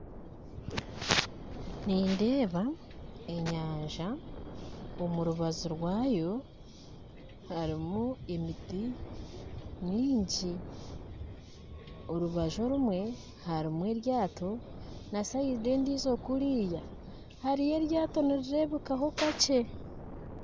Nindeeba enyanjja, omurubajju rwayo harimu emitti myingyi, orubajju orumwe harimu eryato nasayidi endijjo kuriya hariyo eryato nirirebekaho kakye